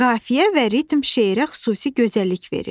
Qafiyə və ritm şeirə xüsusi gözəllik verir.